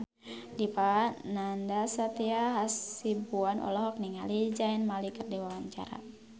Dipa Nandastyra Hasibuan olohok ningali Zayn Malik keur diwawancara